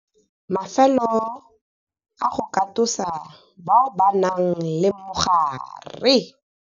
Mafelo a go katosa bao ba nang le mogare.